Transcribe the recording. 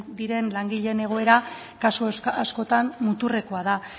diren langileen egoera askotan muturrekoa da